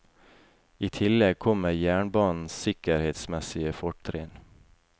I tillegg kommer jernbanens sikkerhetsmessige fortrinn.